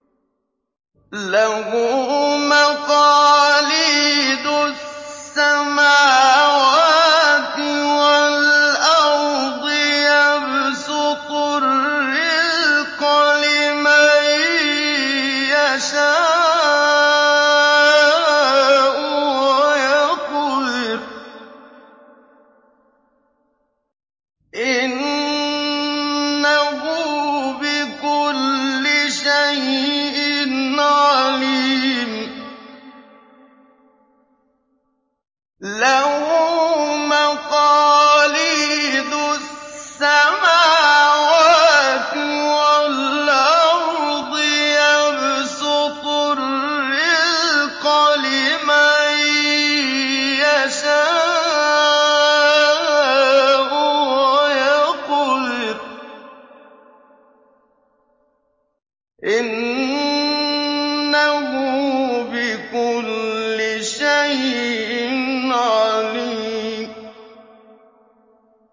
لَهُ مَقَالِيدُ السَّمَاوَاتِ وَالْأَرْضِ ۖ يَبْسُطُ الرِّزْقَ لِمَن يَشَاءُ وَيَقْدِرُ ۚ إِنَّهُ بِكُلِّ شَيْءٍ عَلِيمٌ